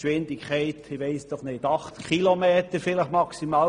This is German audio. Ihre Maximalgeschwindigkeit liegt wohl etwa bei 80 Stundenkilometern.